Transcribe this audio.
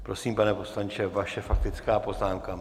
Prosím, pane poslanče, vaše faktická poznámka.